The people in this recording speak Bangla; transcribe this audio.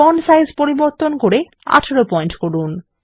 ফন্ট সাইজ পরিবর্তন করে ১৮ পয়েন্ট করুন